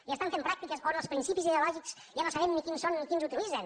i estan pràctiques on els principis ideològics ja no sabem ni quins són ni quins utilitzen